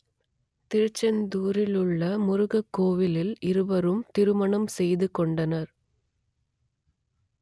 திருச்செந்தூரிலுள்ள முருகன் கோவிலில் இருவரும் திருமணம் செய்துகொண்டனர்